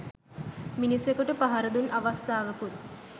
මිනිසකුට පහරදුන් අවස්ථාවකුත්